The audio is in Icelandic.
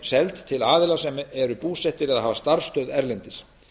sé hún seld aðilum sem eru búsettir eða hafa starfsstöð erlendis